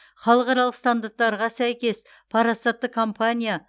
халықаралық стандарттарға сәйкес парасатты компания